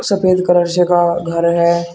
सफेद कलर से का घर है।